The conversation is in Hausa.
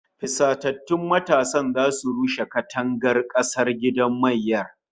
Fusatattun matasan zasu rushe kangon gidan kasar mayyar